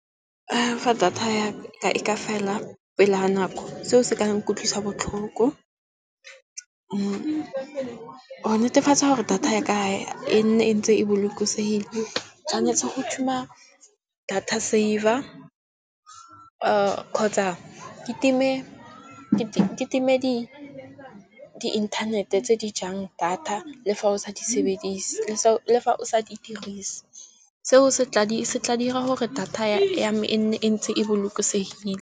Fa data ya ka e ka fela pele ga nako seo se ka utlwisa botlhoko, go netefatsa gore data ya ka e nne e ntse e bolokosegile, tshwanetse go thuma data saver kgotsa ke time di inthanete tse di jang data le fa o sa di sebedise, le fa o sa di dirise. Seo se tla dira gore data ya me e nne e ntse e bolokosegile.